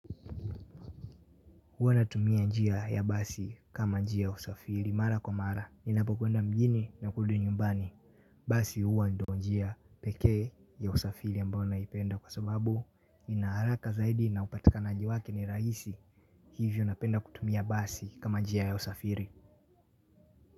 Huwa natumia njia ya basi kama njia ya usafiri mara kwa mara ninapokwenda mjini na kurudi nyumbani. Basi huwa ndo njia pekee ya usafiri ambayo naipenda kwa sababu nina haraka zaidi na upatikanaji wake ni rahisi hivyo napenda kutumia basi kama njia ya usafiri.